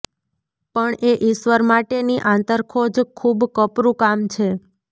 પણ એ ઈશ્વર માટેની આંતરખોજ ખૂબ કપરું કામ છે